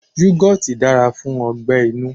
Yugoti dára fún ọgbẹ-inú.